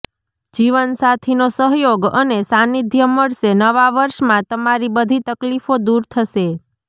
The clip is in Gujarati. જીવનસાથીનો સહયોગ અને સાંનિધ્ય મળશે નવા વર્ષમાં તમારી બધી તકલીફો દૂર થશે